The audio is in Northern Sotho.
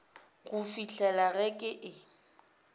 go fihlela ge ke e